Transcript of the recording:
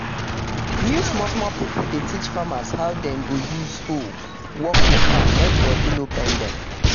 new small small pipo dey teach farmers how dem go use hoe work for farm mek body no pain dem.